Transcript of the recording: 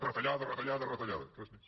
retallada retallada retallada res més